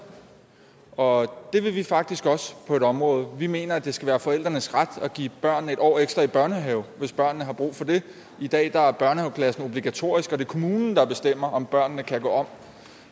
og det vil vi faktisk også på et område vi mener at det skal være forældrenes ret at give børnene et år ekstra i børnehaven hvis børnene har brug for det i dag er børnehaveklassen obligatorisk og det er kommunen der bestemmer om børnene kan gå om